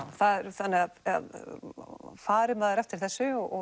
þannig fari maður eftir þessu og